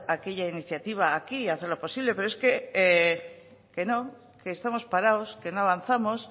aquella iniciativa aquí y hacerlo posible pero es que no que estamos parados que no avanzamos